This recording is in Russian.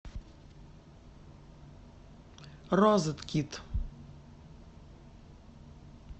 розеткид